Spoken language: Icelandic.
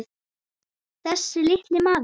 Þessi litli maður.